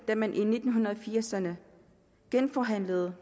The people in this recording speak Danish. da man i nitten firserne genforhandlede